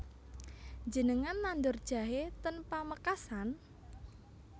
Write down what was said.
Njenengan nandur jahe ten Pamekasan?